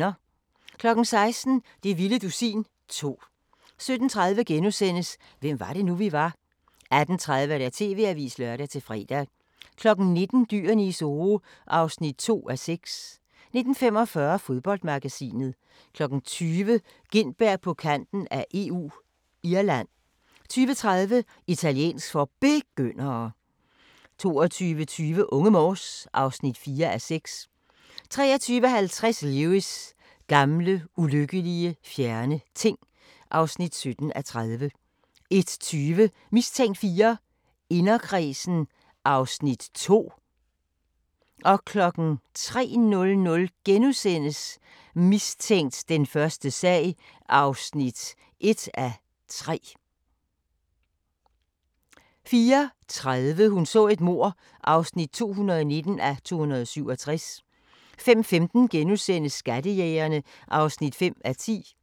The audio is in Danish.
16:00: Det vilde dusin 2 17:30: Hvem var det nu, vi var? * 18:30: TV-avisen (lør-fre) 19:00: Dyrene i Zoo (2:6) 19:45: Fodboldmagasinet 20:00: Gintberg på kanten af EU – Irland 20:30: Italiensk for Begyndere 22:20: Unge Morse (4:6) 23:50: Lewis: Gamle, ulykkelige, fjerne ting (17:30) 01:20: Mistænkt 4: Inderkredsen (Afs. 2)